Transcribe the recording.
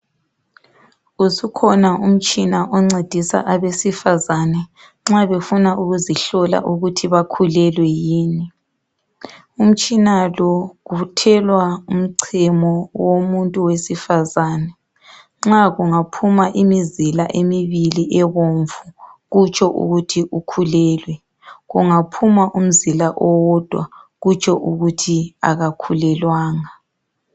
Usukhona umtshina oncedisa abesifazana nxa befuna ukuzihlola ukuthi bakhulelwe yini. Umtshina lo uthelwa umchemo womuntu wesifazane, nxa kungaphuma imizila emibili ebomvu kutsho ukuthi ukhulelwe kungaphuma umzila owedwa kutsho ukuthi akakhulelwanga.